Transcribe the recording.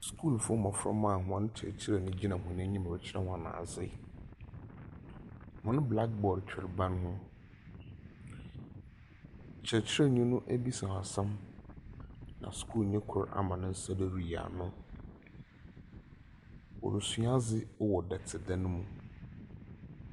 Skulfo moframba a hɔn kyerɛkyerɛnyi gyina hɔn enyim rekyerɛ hɔn adze. Hɔn black board twer ban ho. Kyerɛkyerɛnyi no ebisa hɔn asɛm, na skulnyi kor ama ne nsa do riyi no. wɔresua adze wɔ dɔtedan mu.